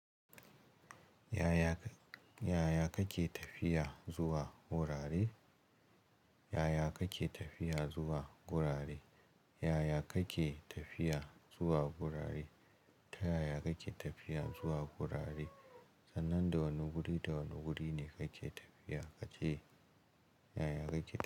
Yaya kake tafiya zuwa gurare? Yaya kake tafiya zuwa gurare? Yaya kake tafiya zuwa gurare? Ta yaya kake tafiya zuwa gurare? Sannan da wane guri da wane guri ne kake tafiya kace yaya kake tafiya.